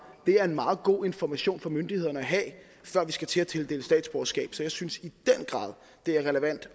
det er en meget god information for myndighederne at have før man skal til at tildele statsborgerskab så jeg synes i den grad det er relevant